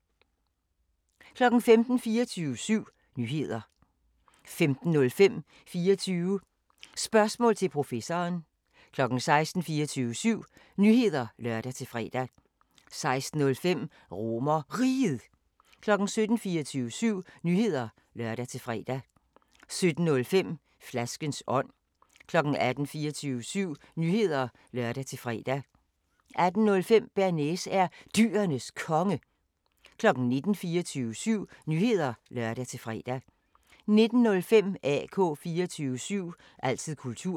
15:00: 24syv Nyheder (lør-fre) 15:05: 24 Spørgsmål til Professoren 16:00: 24syv Nyheder (lør-fre) 16:05: RomerRiget 17:00: 24syv Nyheder (lør-fre) 17:05: Flaskens ånd 18:00: 24syv Nyheder (lør-fre) 18:05: Bearnaise er Dyrenes Konge 19:00: 24syv Nyheder (lør-fre) 19:05: AK 24syv – altid kultur